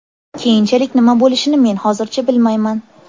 Keyinchalik nima bo‘lishini men hozircha bilmayman.